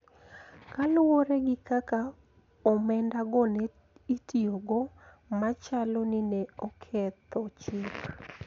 Kaluwore gi kaka omendago ne itiyogo machalo ni ne oketho chik